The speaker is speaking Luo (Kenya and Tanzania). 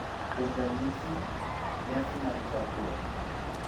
Kuom ranyisi, nyasi mag chakruok,